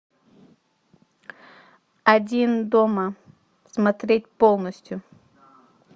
один дома смотреть полностью